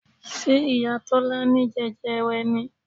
Ṣé ìyá Tọ́lá ní jẹjẹrẹ ni?